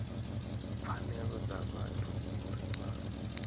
pfanelo dza vhathu uri vha